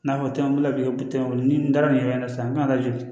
N'a fɔ tɛmɛnen ko tɛ n bolo ni n taara nin yɔrɔ in na sisan n kan ka lajɔ